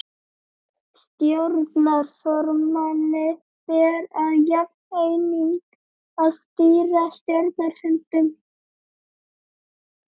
Stjórnarformanni ber að jafnaði einnig að stýra stjórnarfundum.